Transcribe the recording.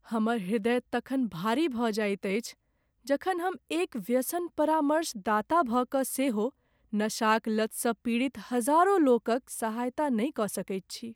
हमर हृदय तखन भारी भऽ जाइत अछि जखन हम एक व्यसन परामर्शदाता भऽ कऽ सेहो नशाक लतसँ पीड़ित हजारो लोकक सहायता नहि कऽ सकैत छी।